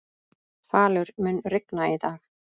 Falur, mun rigna í dag?